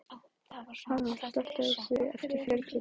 Hafrún, slökktu á þessu eftir fjörutíu og tvær mínútur.